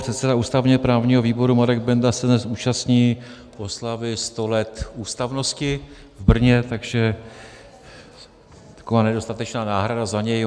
Předseda ústavně-právního výboru Marek Benda se dnes účastní oslavy 100 let ústavnosti v Brně, takže taková nedostatečná náhrada za něj.